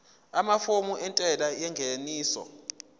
amafomu entela yengeniso